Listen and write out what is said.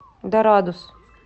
дорадус